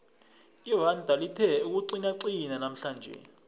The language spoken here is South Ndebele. iranda lithe ukuqinaqina namhlanje